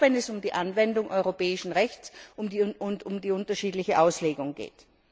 Auch wenn es um die Anwendung europäischen Rechts und um die unterschiedliche Auslegung geht.